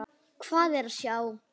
Hvað er að sjá